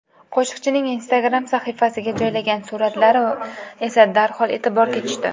Qo‘shiqchining Instagram sahifasiga joylagan suratlar esa darhol e’tiborga tushdi.